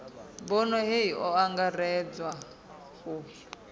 bono hei o angaredza u